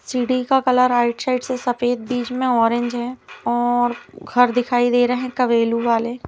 सीढ़ी का colour -outside से सफ़ेद बीच में ऑरेंज है और घर दिखाई दे रहॆ है कबेलू वाले।